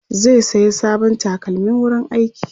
zai saya sabon takalmin wurin aiki